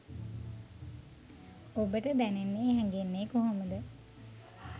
ඔබට දැනෙන්නෙ හැඟෙන්නෙ කොහොමද?